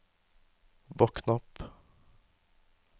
våkn opp